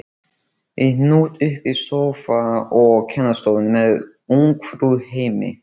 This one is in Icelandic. Í hnút uppi í sófa á kennarastofunni með Ungfrú heimi!